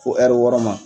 Ko ɛri wɔɔrɔ ma